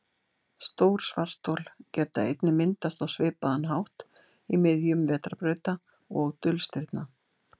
stór svarthol geta einnig myndast á svipaðan hátt í miðjum vetrarbrauta og dulstirna